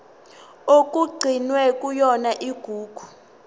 okugcinwe kuyona igugu